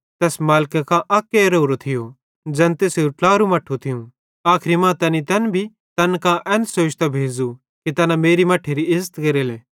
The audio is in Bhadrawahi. तैस मालिके कां अक्के रेवरो थियो ज़ैन तैसेरू ट्लारू मट्ठू थियूं आखरी मां तैनी तै भी तैन कां एन सोचतां भेज़ू कि तैना मेरे मट्ठेरी इज़्ज़त केरले